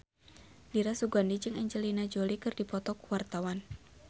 Dira Sugandi jeung Angelina Jolie keur dipoto ku wartawan